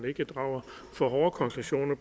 drager for hårde konklusioner